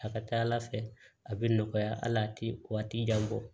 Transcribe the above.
A ka ca ala fɛ a bɛ nɔgɔya hali ti jan bɔ